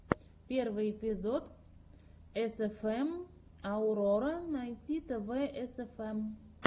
первый эпизод эсэфэм аурора найт тв эсэфэм